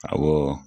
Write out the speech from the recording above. Awɔ